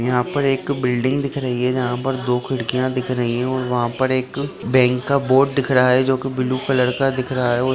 यहां पर एक बिल्डिंग दिख रही हैं जहां पर दो खिड़कियां दिख रही हैं और वहां पर एक बैंक का बोर्ड दिख रहा है जो की ब्लू कलर का दिख रहा हैं और --